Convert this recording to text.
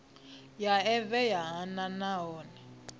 ya evee ya nha nahone